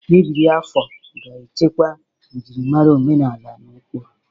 Ebiri afọ ga-echekwa njirimara omenala na ụkpụrụ.